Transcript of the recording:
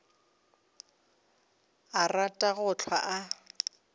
a rata go hlwa a